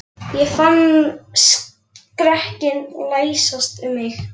Ég fann skrekkinn læsast um mig.